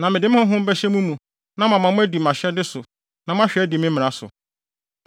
Na mede me Honhom bɛhyɛ mo mu na mama moadi mʼahyɛde so na moahwɛ adi me mmara so.